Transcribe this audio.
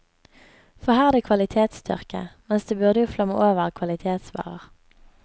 For her er det kvalitetstørke, mens det jo burde flomme over av kvalitetsvarer.